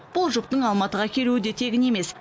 бұл жұптың алматыға келуі де тегін емес